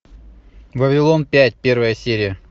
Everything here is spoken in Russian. вавилон пять первая серия